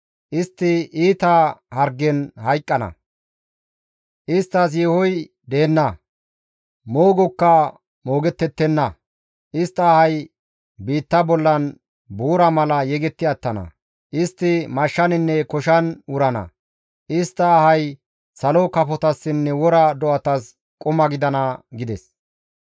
«Istti iita hargen hayqqana; isttas yeehoy deenna; moogokka moogettettenna; istta ahay biitta bollan buura mala yegetti attana; istti mashshaninne koshan wurana; istta ahay salo kafotassinne wora do7atas quma gidana» gides.